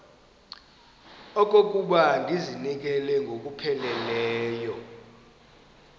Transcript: okokuba ndizinikele ngokupheleleyo